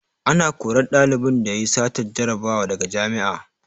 Ana korar ɗalibin da yayi satar jarabawa daga jami'a